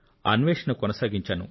అన్వేషణ కొనసాగించాను